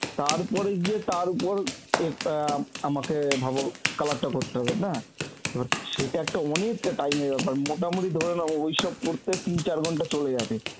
তারপরে গিয়ে তার উপর যে অ্যাঁ আমাকে ভাব color টা করতে হবে না তো সেটা একটা অনেকটা time এর ব্যাপার. মোটামুটি ধরে নাও ওইসব করতে তিন চার ঘন্টা চলে যাবে.